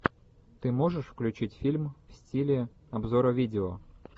ты можешь включить фильм в стиле обзора видео